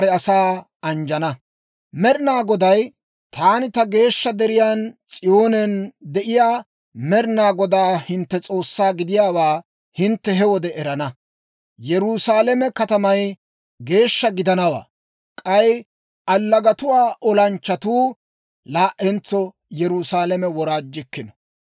Med'inaa Goday, «Taani ta geeshsha deriyaan S'iyoonen de'iyaa Med'inaa Godaa hintte S'oossaa gidiyaawaa hintte he wode erana. Yerusaalame katamay geeshsha gidanawaa; k'ay allagatuwaa olanchchatuu laa"entso Yerusaalame woraajjikkino.